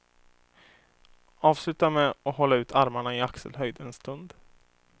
Avsluta med att hålla ut armarna i axelhöjd en stund.